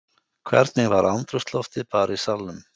Hvernig var andrúmsloftið bara í salnum?